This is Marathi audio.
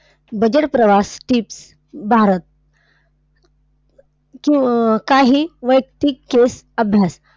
Budget प्रवास tips. भारत. क काही वैयक्तिक case अभ्यास.